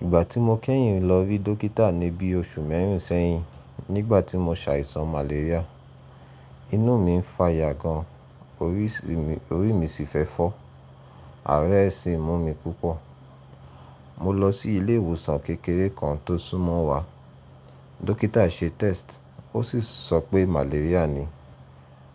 Ìgbà tí mo kẹ́yìn lọ rí dọ́kítà ní bíi oṣù mẹ́rìn sẹ́yìn, nígbà tí mo ṣàìsàn malaria. Inú mi ń fa yà gan, orí mi sì fẹ́ fọ́, ara rẹ́ sì ń mú mi púpọ̀. Mo lọ sí ilé ìwòsàn kékeré kan tó súnmọ́ wa. Dọ́kítà se test, ó sì sọ pé malaria ni.